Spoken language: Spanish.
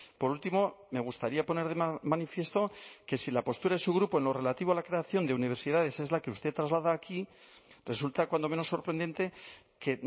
por último me gustaría poner de manifiesto que si la postura de su grupo en lo relativo a la creación de universidades es la que usted traslada aquí resulta cuando menos sorprendente que